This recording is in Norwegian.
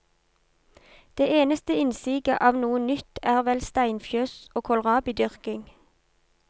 Det eneste innsiget av noe nytt er vel steinfjøs og kålrabidyrking.